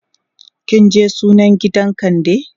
kinje sunan gidan kande?